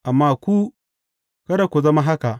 Amma ku, kada ku zama haka.